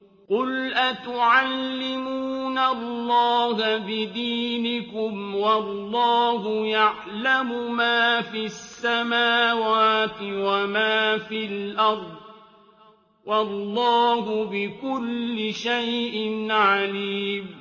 قُلْ أَتُعَلِّمُونَ اللَّهَ بِدِينِكُمْ وَاللَّهُ يَعْلَمُ مَا فِي السَّمَاوَاتِ وَمَا فِي الْأَرْضِ ۚ وَاللَّهُ بِكُلِّ شَيْءٍ عَلِيمٌ